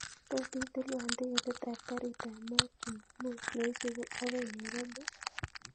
Tot itilwan tiketit ab garit ab maat chumamos neisubu akoi nairobi